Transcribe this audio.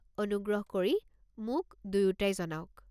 অনুগ্ৰহ কৰি মোক দুয়োটাই জনাওক।